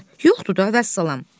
Yoxdur da, vəssalam.